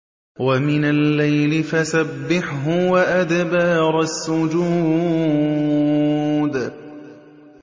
وَمِنَ اللَّيْلِ فَسَبِّحْهُ وَأَدْبَارَ السُّجُودِ